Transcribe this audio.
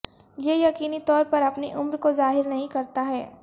یہ یقینی طور پر اپنی عمر کو ظاہر نہیں کرتا ہے